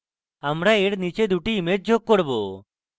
আমরা we নীচে 2 টি ইমেজ যোগ করব